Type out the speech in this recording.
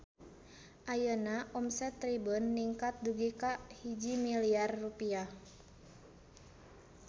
Ayeuna omset Tribun ningkat dugi ka 1 miliar rupiah